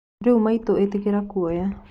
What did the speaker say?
Rĩũi maĩtũ ĩtĩkĩra kũoya